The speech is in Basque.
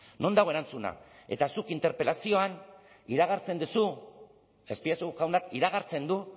non dago erantzuna eta zuk interpelazioan iragartzen duzu azpiazu jaunak iragartzen du